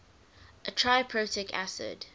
a triprotic acid